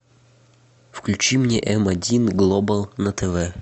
включи мне м один глобал на тв